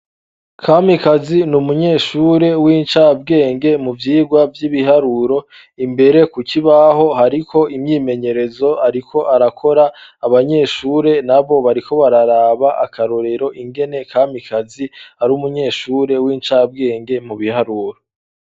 kamikazi ni umunyeshure w'incabwenge mu vyigwa vy'ibiharuro imbere kukibaho hariko imyimenyerezo ariko arakora abanyeshure nabo bariko bararaba akarorero ingene kamikazi ari umunyeshure w'incabwenge mu biharuro